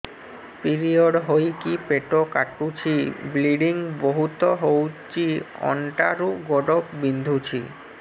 period ହୋଇକି ପେଟ କାଟୁଛି ବ୍ଲିଡ଼ିଙ୍ଗ ବହୁତ ହଉଚି ଅଣ୍ଟା ରୁ ଗୋଡ ବିନ୍ଧୁଛି